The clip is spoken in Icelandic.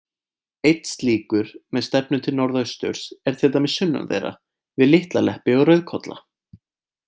Einn slíkur, með stefnu til norðausturs, er til dæmis sunnan þeirra, við Litla-Leppi og Rauðkolla.